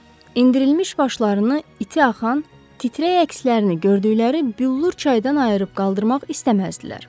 Endirilmiş başlarını, iti axan, titrəy əkslərini gördükləri büllür çaydan ayırıb qaldırmaq istəməzdilər.